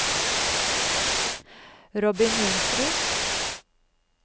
Robin Johnsrud